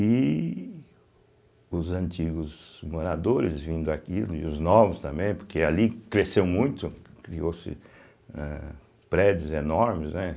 E os antigos moradores vendo daquilo, e os novos também, porque ali cresceu muito, criou-se eh prédios enormes, né?